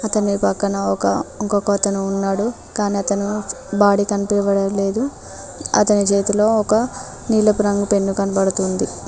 అతని పక్కన ఒక ఇంకొకతను ఉన్నాడు కానీ అతను బాడీ కనిపివ్వడం లేదు అతని చేతిలో ఒక నీళ్ళపు రంగు పెన్ను కనబడుతుంది.